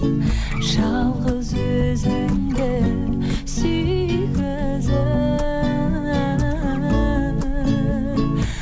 жалғыз өзіңді